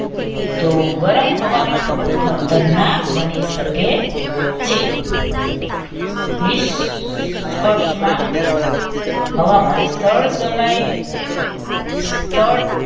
તો ગરમ હવામાન ખતરનાક બની શકે છે નિસકસ માં હવા માં સ્થળ સમયે સ્થળ